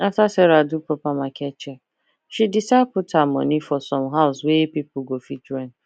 after sarah do proper market check she decide put her money for some house wey people go fit rent